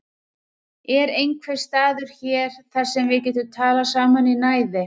Er einhver staður hér þar sem við getum talað saman í næði?